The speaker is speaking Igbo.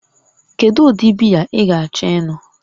Kedu ụdị biya ị ga-achọ ịṅụ?